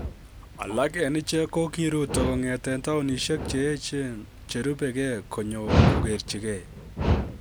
Alak en ichek ko kiruto kong'eten taonisiek che yechen cherubege konyo kogerchigei